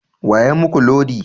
Wa ya muku lodi?